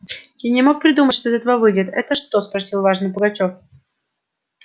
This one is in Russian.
я не мог придумать что из того выйдет это что спросил важно пугачёв